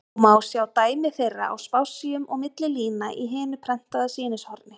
og má sjá dæmi þeirra á spássíum og milli lína í hinu prentaða sýnishorni.